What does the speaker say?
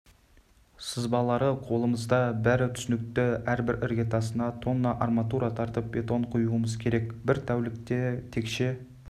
сызбалары қолымызда бар бәрі түсінікті әрбір іргетасына тонна арматура тартып бетон құюымыз керек бір тәулікте текше